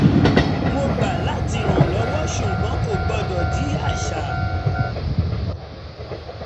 mo gbà láti rànlọ́wọ́ ṣùgbọ́n kò gbọdọ̀ di àṣà